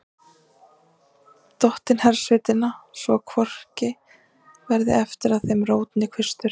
Dottinn hersveitanna, svo að hvorki verði eftir af þeim rót né kvistur.